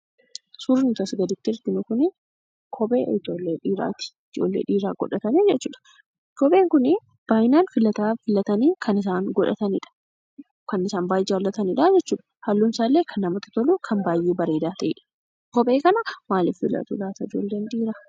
Suurri nuti asii gaditti arginu kuni kophee ijoollee dhiiraati. Ijoollee dhiiraatu godhata jechuudha. Kopheen kunii baay'inaan filatanii kan isaan godhatanidha. Kan isaan baay'ee jaallatanidha jechuudha. Halluun isaallee kan namatti tolu kan baay'ee bareedaa ta'e. Kophee kana maalif filatu laata ijoolleen dhiiraa?